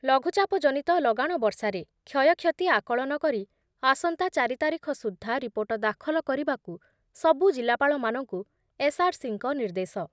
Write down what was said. ଲଘୁଚାପ ଜନିତ ଲଗାଣ ବର୍ଷାରେ କ୍ଷୟକ୍ଷତି ଆକଳନ କରି ଆସନ୍ତା ଚାରି ତାରିଖ ସୁଦ୍ଧା ରିପୋର୍ଟ ଦାଖଲ କରିବାକୁ ସବୁ ଜିଲ୍ଲାପାଳମାନଙ୍କୁ ଏସ୍‌ଆର୍‌ସିଙ୍କ ନିର୍ଦ୍ଦେଶ